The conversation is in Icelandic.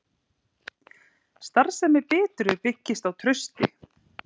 Starfsemi Bitru byggist á trausti